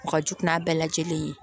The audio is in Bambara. O ka jugu n'a bɛɛ lajɛlen ye